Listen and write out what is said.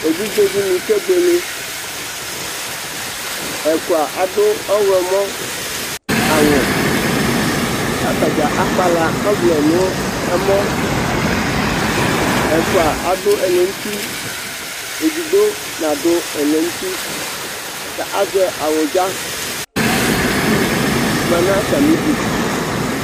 Evidze dɩnɩ kebuele Ɛfʋa adʋ ɔɣlɔmɔ awʋ Kʋ atadza akpala ɔvlɛ nʋ ɛmɔ Ɛfʋa adʋ ɛlɛnuti Edigbo nadʋ ɛlɛnuti, kʋ azɛ awʋdza, kʋ itsu ma nʋ atamɩ idu